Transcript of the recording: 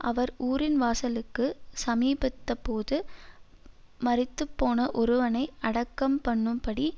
அவர் ஊரின் வாசலுக்குச் சமீபத்தபோது மரித்துப்போன ஒருவனை அடக்கம்பண்ணும்படி